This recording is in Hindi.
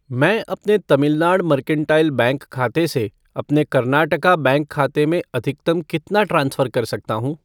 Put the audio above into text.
मैं अपने तमिलनाड मर्केंटाइल बैंक खाते से अपने कर्नाटका बैंक खाते में अधिकतम कितना ट्रांसफ़र कर सकता हूँ?